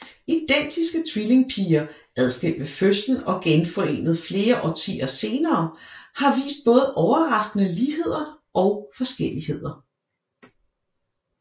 Identiske tvillingepiger adskilt ved fødslen og genforenet flere årtier senere har vist både overraskende ligheder og forskelligheder